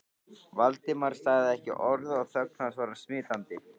Valdimar sagði ekki orð og þögn hans var smitandi.